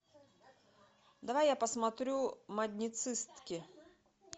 давай я посмотрю модницистки